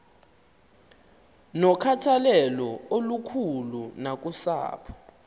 nokhathalelo olukhulu nakusapho